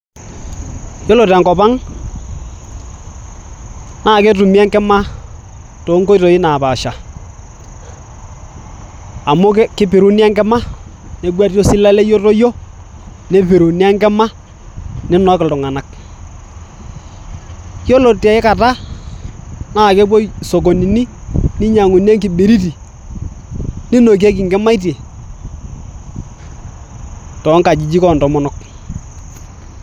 Yiolo tenkop ang naa ketumi enkima toonkoitoi naapasha amu keipiruni enkima negueti osilalei otoyio nipiruni enkima ninok iltung'anak. yiolo tiaikata naa kepuoi isokonini ninyiang'uni enkibiriti ninokieki inkimaitie toonkajijik oontomonok.